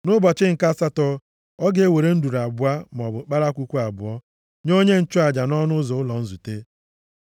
Nʼụbọchị nke asatọ, ọ ga-ewere nduru abụọ maọbụ ụmụ kpalakwukwu abụọ, nye onye nchụaja nʼọnụ ụzọ ụlọ nzute.